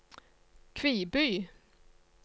Kviby